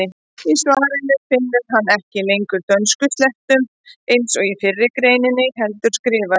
Í svarinu finnur hann ekki lengur að dönskuslettum eins og í fyrri greininni heldur skrifar: